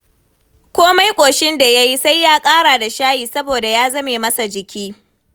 Komai ƙoshin da ya yi sai ya ƙara da shayi saboda ya zame masa jiki.